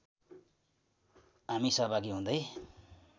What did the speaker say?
हामी सहभागी हुँदै